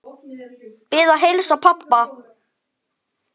Bið að heilsa pabba.